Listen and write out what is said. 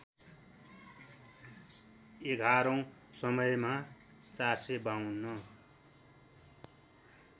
एघारैँ समयमा ४५२